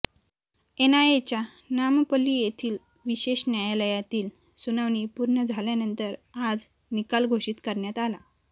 एनआयएच्या नामपल्ली येथील विशेष न्यायालयातील सुनावणी पूर्ण झाल्यानंतर आज निकाल घोषित करण्यात आला